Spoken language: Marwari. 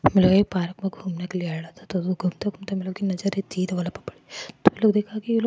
ये पार्क में घूमने के लिए आयेडा --